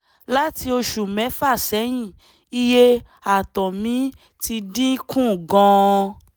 láti oṣù mẹ́fà sẹ́yìn iye ààtọ̀ mi ti dín kù gan-an